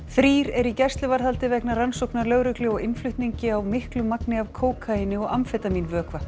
þrír eru í gæsluvarðhaldi vegna rannsóknar lögreglu á innflutningi á miklu magni af kókaíni og